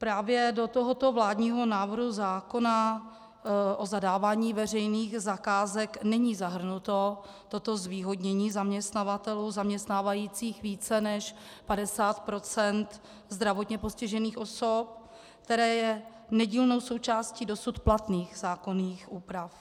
Právě do tohoto vládního návrhu zákona o zadávání veřejných zakázek není zahrnuto toto zvýhodnění zaměstnavatelů zaměstnávajících více než 50 % zdravotně postižených osob, které je nedílnou součástí dosud platných zákonných úprav.